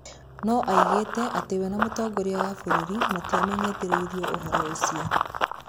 Nĩ oĩgĩte atĩ we na mũtongoria wa bũrũri matiamenyithirio ũhoro ũcio.